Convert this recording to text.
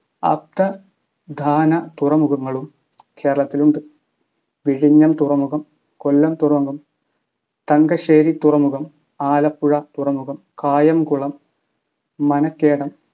അപ്ര ധാന തുറമുഖങ്ങളും കേരളത്തിലുണ്ട്. വിഴിഞ്ഞം തുറമുഖം കൊല്ലം തുറമുഖം തങ്കശ്ശേരി തുറമുഖം ആലപ്പുഴ തുറമുഖം കായംകുളം മനക്കേദം